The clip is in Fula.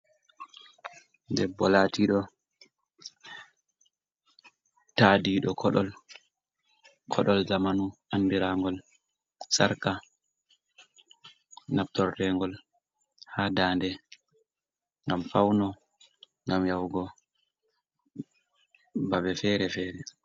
Debbo latiɗo ta ɗiɗo koɗol zamanu andirangol sarka nabtorregol ha dande gam fauno, gam yahugo babe fere fere.